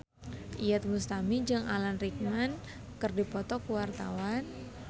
Iyeth Bustami jeung Alan Rickman keur dipoto ku wartawan